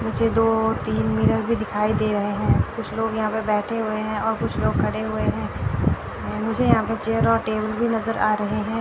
मुझे दो तीन मिरर भी दिखाई दे रहे हैं कुछ लोग यहां पे बैठे हुए हैं और कुछ लोग खड़े हुए हैं मुझे यहां पर चेयर और टेबल भी नजर आ रहे हैं।